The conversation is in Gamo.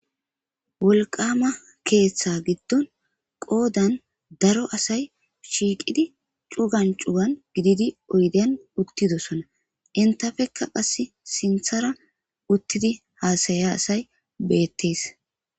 Wolqama ketha gidon qodan daro asay shiqidi cugan cugan gididi oyden uttidosona entappeka sinthara uttidi hasayiya asay betes